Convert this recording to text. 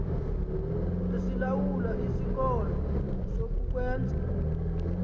elilawula isikolo zokukwenza